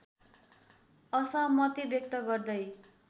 असहमति व्यक्त गर्दै